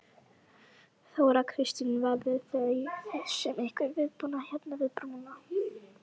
Þóra Kristín: Verðið þið með einhvern viðbúnað hérna við brúna?